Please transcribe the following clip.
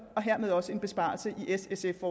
og hermed også en besparelse i s sf